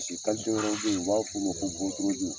wɛrɛw bɛ yen, u b'a f'o ko botorodi